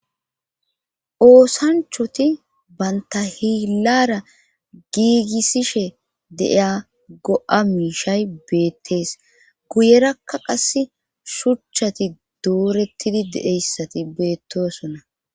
Oosanchoti baynta hiillara giigissishe deiya go7a miishay beettees guyerakka qas shuchchati doorettidi deeyssati beettoosonna.